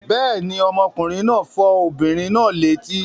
Bẹ́ẹ̀ ni, ọmọkùnrin náà fọ́ obìnrin náà létí.